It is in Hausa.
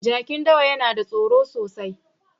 Jakin dawa yana da tsoro sosai.